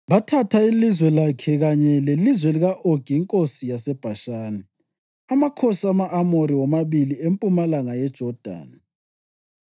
Bathatha ilizwe lakhe kanye lelizwe lika-Ogi inkosi yaseBhashani, amakhosi ama-Amori womabili empumalanga yeJodani.